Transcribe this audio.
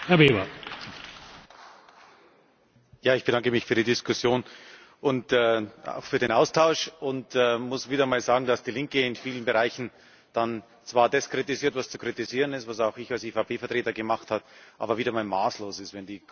Herr Präsident! Ich bedanke mich für die Diskussion und auch für den Austausch und muss wieder mal sagen, dass die Linke in vielen Bereichen dann zwar das kritisiert, was zu kritisieren ist was auch ich als EVP Vertreter gemacht habe aber wieder mal maßlos ist.